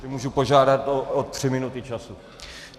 Můžu požádat o tři minuty času?